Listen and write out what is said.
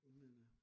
Men øh